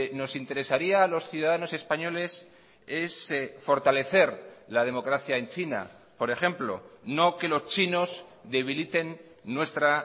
nos interesaría a los ciudadanos españoles es fortalecer la democracia en china por ejemplo no que los chinos debiliten nuestra